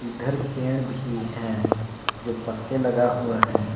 इधर पेड़ भी है जो पत्ते लगा हुआ है।